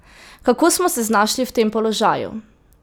Kako smo se znašli v tem položaju?